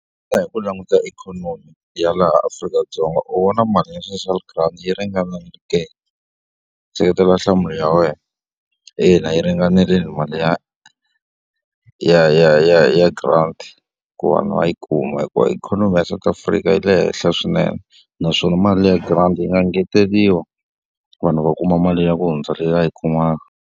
Hi ku languta ikhonomi ya laha Afrika-Dzonga, xana u vona mali ya social grant yi ringanile ke? Seketela nhlamulo ya wena. Ina, yi ringanerle mali ya ya ya ya ya grant ku va va va yi kuma. Hikuva ikhonomi ya South Africa yi le henhla swinene, naswona mali ya grant yi nga ngeteriwa vanhu va kuma mali ya ku hundza leyi va yi kumaka.